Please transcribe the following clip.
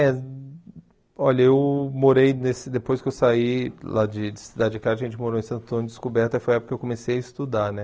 É, olha, eu morei, nesse depois que eu saí lá de Cidade de Cá, a gente morou em Santo Antônio Descoberta, foi a época que eu comecei a estudar, né?